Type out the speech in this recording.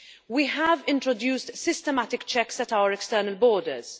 We have introduced systematic checks at our external borders.